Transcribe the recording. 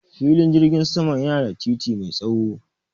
Filin jirgin sama yana da titi mai tsaho.